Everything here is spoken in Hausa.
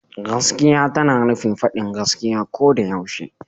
Gaskiya tana nufin faɗin gaskiya ko da yaushe.